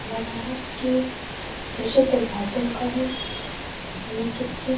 बनारस के प्रसिद्ध घाटो का है यह चित्र।